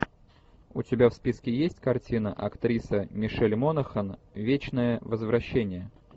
у тебя в списке есть картина актриса мишель монахэн вечное возвращение